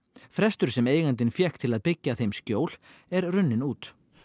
frestur sem eigandinn fékk til að byggja þeim skjól er runninn út